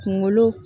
Kunkolo